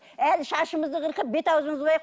әлі шашымызды қырқып бет аузымызды бояп